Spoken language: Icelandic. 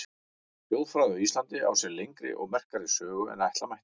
Þjóðfræði á Íslandi á sér lengri og merkari sögu en ætla mætti.